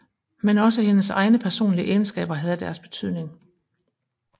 Men også hendes egne personlige egenskaber havde deres betydning